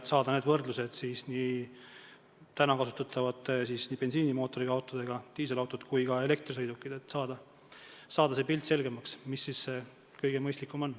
On vaja saada täna kasutatavate bensiinimootoriga autode, diiselautode ja elektrisõidukite võrdlus, et saada selgemaks pilt, mis siis tulevikus kõige mõistlikum on.